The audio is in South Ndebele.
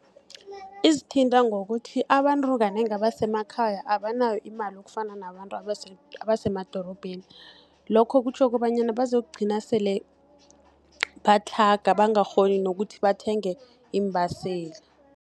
Izithinta ngokuthi, abantu kanengi abasemakhaya abanayo imali okufana nabantu abesemadorobheni. Lokho kutjho kobanyana bazokugcina sele batlhaga bangakghoni nokuthi bathenge iimbaseli.